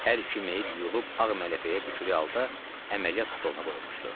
Hər iki meyid yuyulub ağ mələfəyə bükülü halda əməliyyat stoluna qoyulmuşdu.